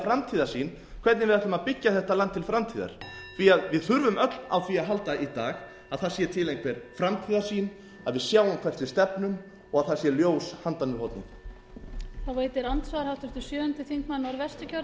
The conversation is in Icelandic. framtíðarsýn hvernig við ætlum að byggja þetta land til framtíðar því að við þurfum öll á því að halda í dag að það sé til einhver framtíðarsýn að við sjáum hvert við stefnum og að það sé ljós handan við hornið